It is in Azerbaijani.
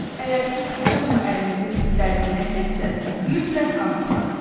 Əgər siz bıçaqla əlinizi dərindən kəssəz, mütləq qan axar.